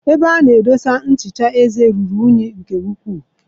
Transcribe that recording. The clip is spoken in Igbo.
Ebe a na edosa nchicha eze ruru unyi nke ukwuu.